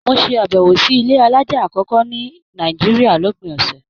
Mo ṣe abẹwo sí ilé alájá akọkọ ní Nàìjíríà lópin ọsẹ.